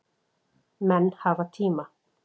Menn hafa tíma